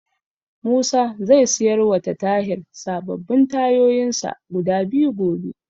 Musa zai siyarwa ta Tahir sababbin tayoyinsa guda biyu gobe.